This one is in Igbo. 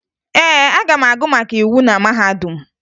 Ee, aga m agụ maka íwú na mahadum